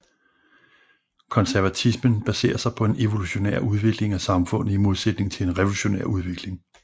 Konservatismen baserer sig på en evolutionær udvikling af samfundet i modsætning til en revolutionær udvikling